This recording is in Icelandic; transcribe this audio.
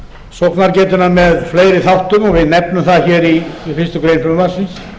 sóknargetuna með fleiri þáttum og við nefnum það í fyrstu grein frumvarpsins